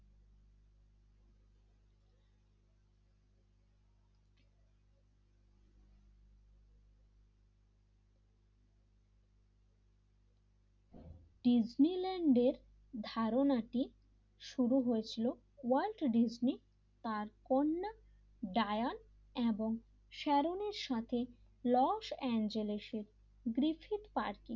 Disneyland এর ধারণাটি শুরু হয়েছিল ওয়াল দিসনি তার কন্যা ডায়ার এবং সারন এর সাথে লস অ্যাঞ্জেলসে ব্রিথিং পার্টি